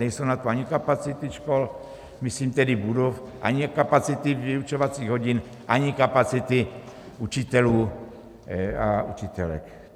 Nejsou na to ani kapacity škol, myslím tedy budov, ani kapacity vyučovacích hodin, ani kapacity učitelů a učitelek.